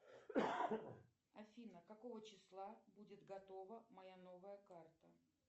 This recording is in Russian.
афина какого числа будет готова моя новая карта